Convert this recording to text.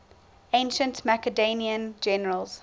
ancient macedonian generals